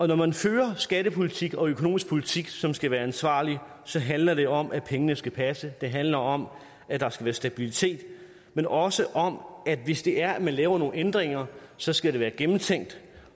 når man fører skattepolitik og økonomisk politik som skal være ansvarlig så handler det om at pengene skal passe det handler om at der skal være stabilitet men også om at hvis det er at man laver nogle ændringer så skal det være gennemtænkt